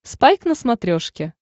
спайк на смотрешке